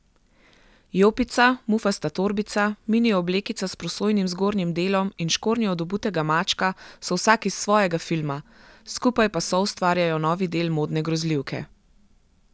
Jopica, mufasta torbica, mini oblekica s prosojnim zgornjim delom in škornji od Obutega mačka so vsak iz svojega filma, skupaj pa soustvarjajo novi del modne grozljivke.